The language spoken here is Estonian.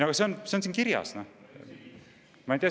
Aga see on siin kirjas!